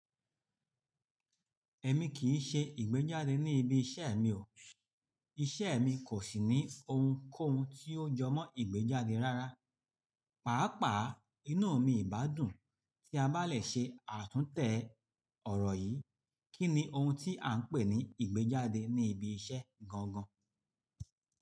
Ẹ̀mi kìí ṣe ìgbéjáde ní ibi iṣẹ́ mi o. Iṣẹ́ mi kò sì ní ohunkóhun tí yóò jọmọ́ ìgbéjáde rárá. Pàápàá, inú mi ìbádùn tí a bá lè ṣe àtúntẹ̀ ọ̀rọ̀ yìí. Kí ni ohun tí à ń pè ní ìgbéjáde ní ibi iṣẹ́ gangan?